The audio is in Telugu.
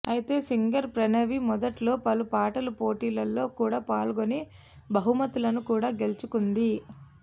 అయితే సింగర్ ప్రణవి మొదట్లో పలు పాటల పోటీలలో కూడా పాల్గొని బహుమతులను కూడా గెలుచుకుంది